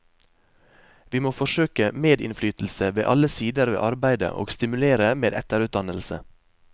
Vi må forsøke medinnflytelse ved alle sider ved arbeidet og stimulere med etterutdannelse.